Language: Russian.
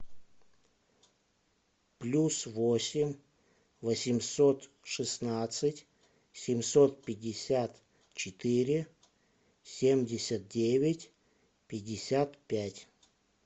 плюс восемь восемьсот шестнадцать семьсот пятьдесят четыре семьдесят девять пятьдесят пять